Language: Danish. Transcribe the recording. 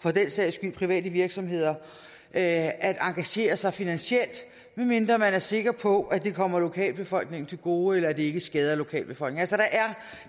for den sags skyld private virksomheder at engagere sig finansielt medmindre man er sikker på at det kommer lokalbefolkningen til gode eller at det ikke skader lokalbefolkningen